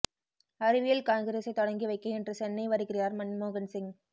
அறிவியல் காங்கிரஸைத் தொடங்கி வைக்க இன்று சென்னை வருகிறார் மன்மோகன் சிங்